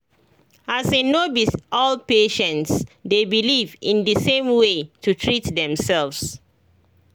as in no be all patients dey beleive in the same way to treat themselves